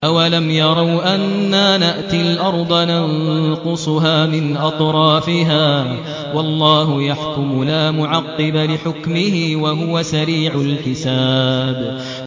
أَوَلَمْ يَرَوْا أَنَّا نَأْتِي الْأَرْضَ نَنقُصُهَا مِنْ أَطْرَافِهَا ۚ وَاللَّهُ يَحْكُمُ لَا مُعَقِّبَ لِحُكْمِهِ ۚ وَهُوَ سَرِيعُ الْحِسَابِ